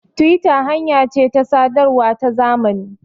tiwita hanya ce ta sadarwa ta zamani